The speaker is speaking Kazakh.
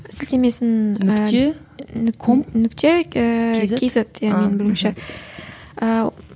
сілтемесін нүкте ком нүкте ііі кейзет менің білуімше ііі